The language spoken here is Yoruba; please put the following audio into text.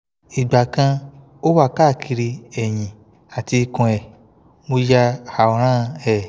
ìgbà kan o wa káàkiri ẹ̀yìn àti ikun e mo ya awran e